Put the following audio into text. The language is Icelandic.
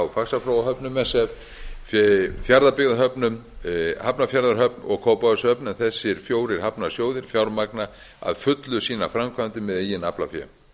faxaflóahöfnum sf fjarðabyggðarhöfnum hafnarfjarðarhöfn og kópavogshöfn en þessir fjórir hafnarsjóðir fjármagna að fullu sínar framkvæmdir með eigin aflafé